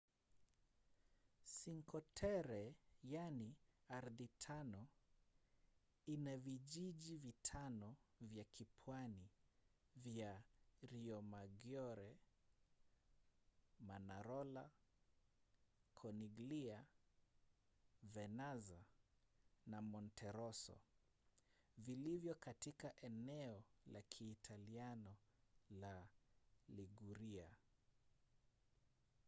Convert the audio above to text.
cinque terre yaani ardhi tano ina vijiji vitano vya kipwani vya riomaggiore manarola corniglia vernazza na monterosso vilivyo katika eneo la kiitaliano la liguria